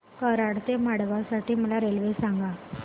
कराड ते मडगाव साठी मला रेल्वे सांगा